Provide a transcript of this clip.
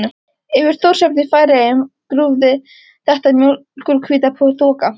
Yfir Þórshöfn í Færeyjum grúfði þétt mjólkurhvít þoka.